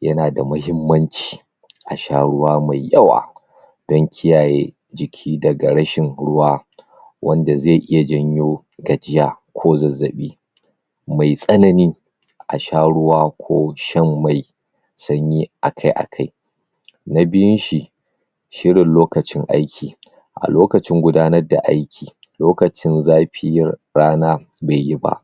yana da mahimmanci asha ruwa mai yawa dan kiyaye jiki daga rashin ruwa wanda zai iya janyo gajiya ko zazzabi tsanani asha ruwa ko shan mai sanyi akai akai na biyun shi shine lokacin aiki a lokacin gudanar da aiki lokacin zafi rana baiyi ba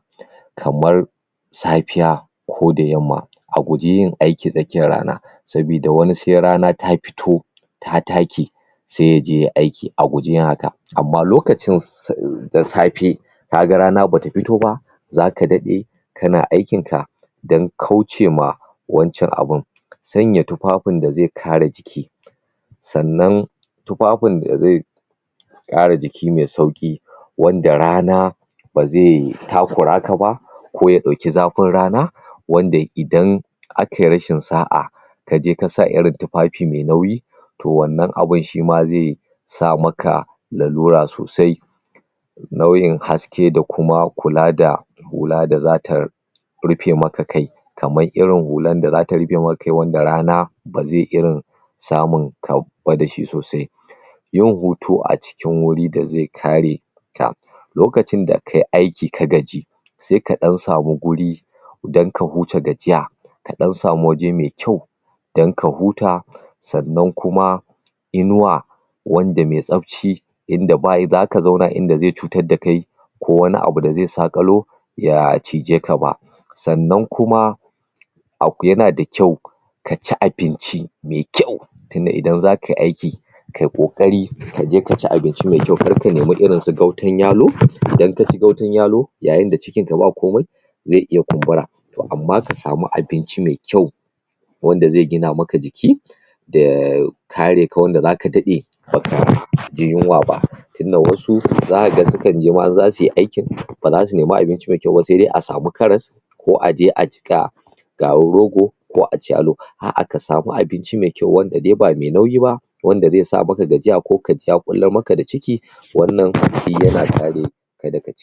kamar safiya ko da yamma a guji yin aiki takiyar rana sabida wani sai rana ta fito ta take sai yaje yayi aiki, a guji yin haka amma lokacin siss da safe kaga rana bata fito ba zaka daɗe kana aikin ka dan kaucewa wancan abun sanya tufafin da zai kare jiki sannan tufafin da zai kare jiki mai sauƙi wanda rana ba zai takura ka ba ko ya ɗauki zafin rana wanda idan akai rashin sa'a kaje kasa iri tufafi mai nauyi to wannan abun shima zai sa maka lalura sosai launin haske da kuma kula da hula da zatar rufe ma kai kamar irin hular da zata rufe ma kai wanda rana ba zai irin samun kau kwada shi sosai yin hutu a cikin wuri da zai kare ka lokacin da kai aiki ka gaji sai ka ɗan sami wuri dan ka huta gajiya ka ɗan sami wuri mai kyau dan ka huta sannan kuma inuwa wanda mai tsafci inda bayi zaka zauna zai cutar da kai ko wani abu da zai saƙalo ya cije ka ba sannan kuma akwi, yana da kyau kaci abinci mai kyau tunda idan zakayi aiki kai ƙoƙari kaje kaci abinci mai kyau, kar ka nemi irin su gautan yalo, idan kaci gautan yalo yayin da cikin ka ba komai zai iya kumbura to amma ka samu abinci mai kyau wanda zai gina maka jiki da kare ka wanda zaka daɗe baka ji yinwa ba tun wasu zaka ga sukan je ma in zasuyi aikin, ba zasu nemi abinci mai kyau ba sai dai a sami karas ko aje a jiƙa garin rogo ko aci yalo, aa, ka sami abinci mai kyau, wanda dai ba mai nauyi ba wanda zai sama gajiya ko kaji ya kullar maka da ciki wannan kudi yana kare daga ci